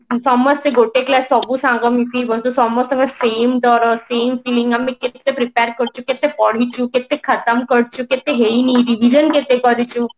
ସମସ୍ତେ ଗୋଟେ class ସବୁ ସାଙ୍ଗ ମିଶି ସମସ୍ତଙ୍କ same ଡର same feeling ଆମେ କେତେ prepare କରିଛୁ କେତେ ପଢିଛୁ କେତେ ଖତମ କରିଛୁ କେତେ ହେଇନି revision କେତେ କରିଛୁ